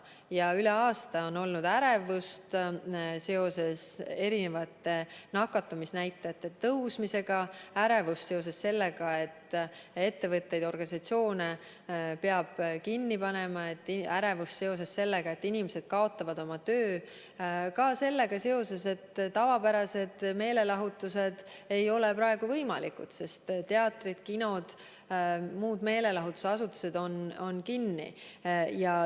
Ja üle aasta on olnud ärevust seoses nakatumisnäitajate tõusuga, on ärevust seoses sellega, et ettevõtteid ja organisatsioone peab kinni panema, on ärevust seoses sellega, et inimesed kaotavad töö, samuti seoses sellega, et tavapärased meelelahutused ei ole praegu võimalikud, sest teatrid, kinod ja muud meelelahutusasutused on kinni.